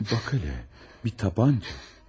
Baqile, bir tapança.